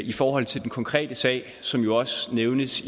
i forhold til den konkrete sag som jo også nævnes